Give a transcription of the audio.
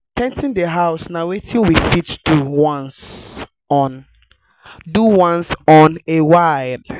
re-painting di house na wetin we fit do once on do once on a while